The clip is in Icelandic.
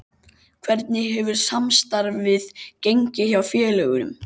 Hvernig hefur samstarfið gengið hjá félögunum?